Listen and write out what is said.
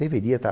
Deveria estar.